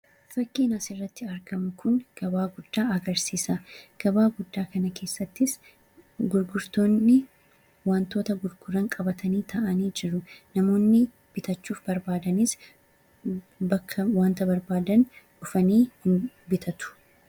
Fakkiin asirratti argamu Kun, gabaa guddaa agarsiisa. Gabaa guddaa kana keessattis gurgurtoonni waantota gurguran qabatanii taa'anii jiru. Namoonni bitachuuf barbaadanis bakka waanta barbaadan dhufanii bitatu.